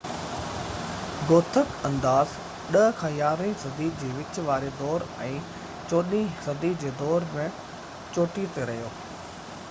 Gothic انداز 10 - 11 هين صدي جي وچ واري دور ۽ 14 هين صدي جي دور ۾ چوٽي تي رھيو